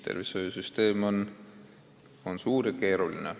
Tervishoiusüsteem on suur ja keeruline.